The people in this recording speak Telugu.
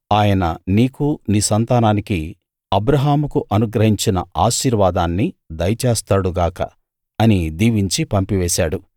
ఆయన నీకూ నీ సంతానానికీ అబ్రాహాముకు అనుగ్రహించిన ఆశీర్వాదాన్ని దయచేస్తాడు గాక అని దీవించి పంపివేశాడు